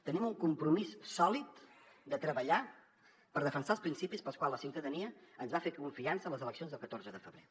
tenim un compromís sòlid de treballar per defensar els principis pels quals la ciutadania ens va fer confiança a les eleccions del catorze de febrer